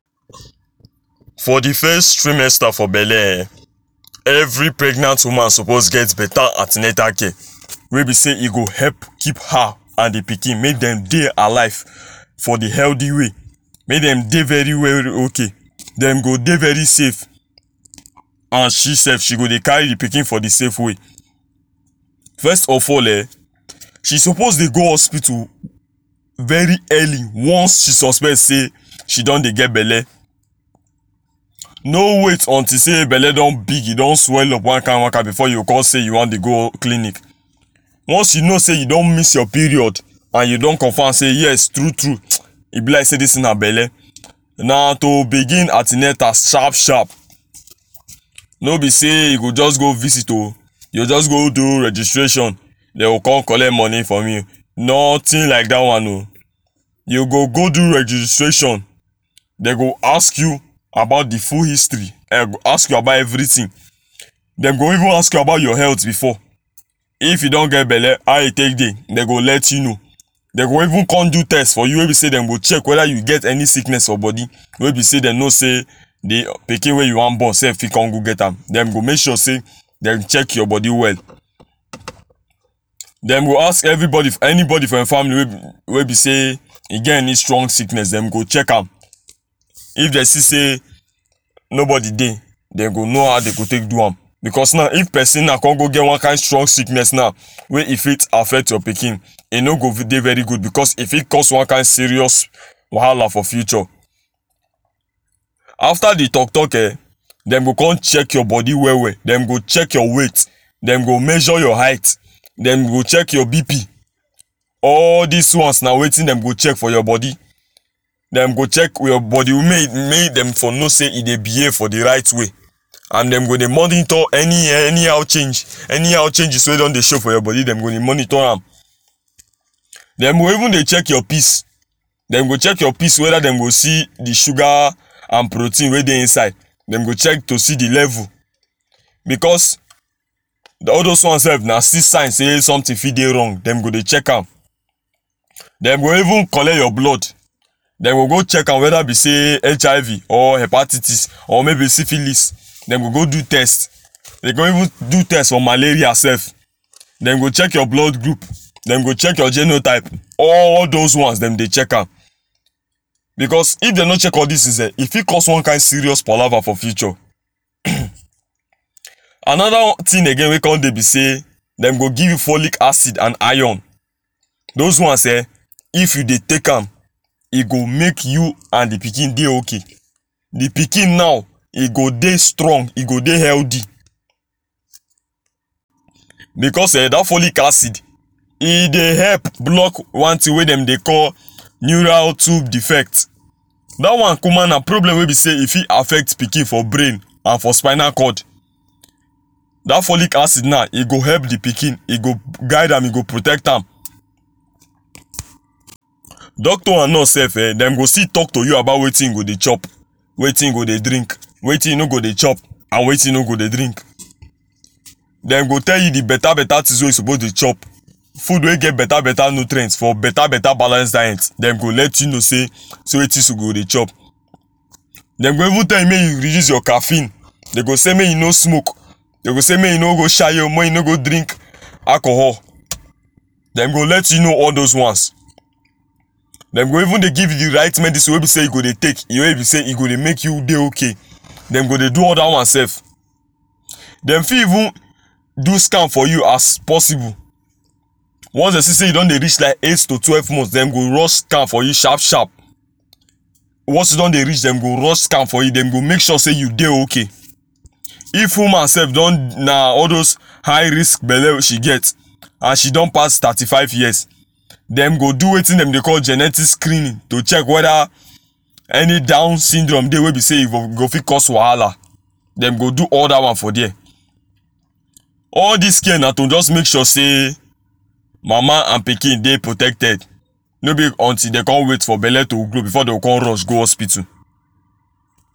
for the fes trimester for belle eh every pregnant woman suppose get beta ante natal care wey be sey e go help keep her and the pikin make dem dey alive for the healthy way make dem dey very well ok dem go dey very safe and she sef she go dey carry the pikin for the safe way first of all eh she suppose dey go hospital very early once she suspect sey she don dey get belle no wait until sey belle don big e don swell up one kind one kind before you go con sey you wan dey go clinic one you know sey you don miss your period and you don confirm sey yes true true e be like sey dis thing na belle na to begin ante natal sharp sharp no be sey you go just go visit o you go just go do registration dey go con collect money from im nothing like dat one o you go go do registration dey go ask you about the full history um dem go ask you about everything dem go even ask you about your health before if you don get belle how e take dey dey go let you know dey even con do test for you wey be sey dem go check weda you get any sickness for bodi wey be sey dem know sey the pikin wey you wan born sef fit con go get am den go make sure sey dem check your body well dem go ask everybody anybody for your family wey wey be sey e get any strong sickness dem go check am if dey see say nobody dey dey go know how dey go take do am becos naw if pesin naw con go get one kind strong sickness naw wey e fit affect your pikin e no go dey very good becos e fit cause one kind serious wahala for future after the talk talk eh dem go con check your body well well dem go check your weight dem go measure your height dem go check your BP all dis ones na wetin dem go check for your body dem go check your body mey mey dem for know sey e dey behave for the right way and dem go dey monitor any anyhow change anyhow changes wey don dey show for your body dem go dey monitor am dem go even dey check your pees dem go check your pees weda dem go see the sugar and protein wey dey inside to see the level because all those one sef na still sign sey something fit dey wrong dem go dey check am dem go even collet your blood dem go go check am weda be sey HIV or hepatitis or maybe syphilis dem go go do test dey go even do test for malaria sef dem go check your blood group dem go check your genotype all those ones dem dey check am because if they no check all dis things eh e fit cause one serious palava for future anoda thing wey con dey be sey dem go give you folic acid and iron those ones eh if you dey take am e go make you and the pikin dey ok the pikin now e go dey strong e go dey healthy because eh dat folic acid e dey help block one thing wey dem dey call neural tube defect dat one kuma na problem wey be sey e fit affect pikin for brain and for spinal cord dat folic acid na, ego help the pikin e go guide am e go protect am Doctor and nurse sef eh dem go still talk to you about wetin you go dey chop wetin you go dey drink wetin you no go dey chop and wetin you no go dey drink dem go tell you the beta beta things wey you suppose dey chop food wey get beta beta nutrient for beta beta balance diet dem go let you know sey see wetin she go dey chop dey go even tell you mey you reduce your caffeine dey go sey mey you no smoke dey go sey mey you no go shayo mey you no go drink alcohol dem go let you know all those ones dem go even dey give you the right medicine wey be sey you go dey take wey be sey e go dey make you dey ok dem go dey do all dat one sef dem fit even do scan for you as possible once dey see sey you don dey reach like eight to twelve months dem go run scan for you sharp sharp once you don dey reach dem go run scan for you dem go make sure you dey ok if woman sef don na all those high risk belle she get and she don pass thirty five years dem go do wetin dem dey call genetic screening to check weda any down syndrome dey wey be say e go fit cause wahala dem go do all dat one for there all dis care na to just make sure sey mama an pikin dey protected no be until dey come wait for belle to grow before dey go come rush go hospital.